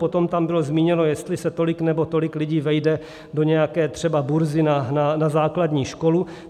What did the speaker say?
Potom tam bylo zmíněno, jestli se tolik nebo tolik lidí vejde do nějaké třeba burzy na základní školu.